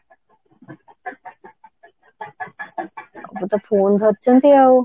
ସବୁ ତ phone ଧରିଛନ୍ତି ଆଉ